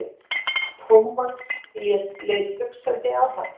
Thomas leit hugsandi á hann.